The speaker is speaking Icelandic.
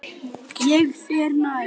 Ég fer nær.